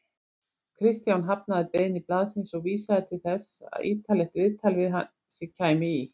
Kristján hafnaði beiðni blaðsins og vísaði til þess að ýtarlegt viðtal við sig kæmi í